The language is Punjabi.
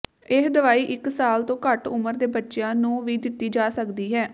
ਇਹ ਦਵਾਈ ਇਕ ਸਾਲ ਤੋਂ ਘੱਟ ਉਮਰ ਦੇ ਬੱਚਿਆਂ ਨੂੰ ਵੀ ਦਿੱਤੀ ਜਾ ਸਕਦੀ ਹੈ